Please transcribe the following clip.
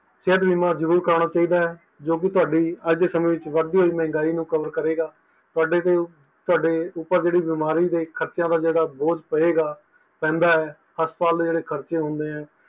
ਸਿਹਤ ਬੀਮਾ ਜ਼ਰੂਰ ਕਰਾਨਾ ਚਾਹੀਦਾ ਹੈ ਜੋ ਕਿ ਤੁਹਾਡੀ ਅੱਜ ਸੇ ਸਮੇ ਵਿੱਚ ਵੱਧ ਦੀ ਹੋਈ ਮਹਿੰਗਾਈ ਨੂੰ cover ਕਰੇਗਾ ਤੁਹਾਡੇ ਤੋਂ ਸਾਡੇ ਤੇ ਉੱਪਰ ਜੋ ਬਿਮਾਰੀਆਂ ਦਾ ਬੋਜ ਪਏਗਾ ਪੈਂਦਾ ਹੈ ਹਸਪਤਾਲਾਂ ਵਿੱਚ ਜੋ ਖਰਚੇ ਹੁੰਦੇ ਹਨ